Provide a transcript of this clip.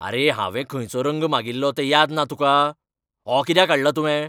आरे, हांवें खंयचो रंग मागिल्लो तें याद ना तुका? हो कित्याक हाडला तुवें ?